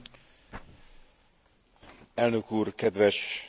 Elnök úr, kedves képviselők!